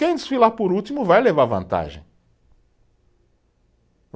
Quem desfilar por último vai levar vantagem.